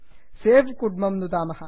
सवे सेव् कुड्मं नुदामः